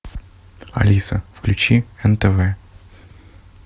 алиса включи нтв